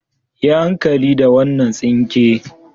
Yi hankali da wannan tsinke.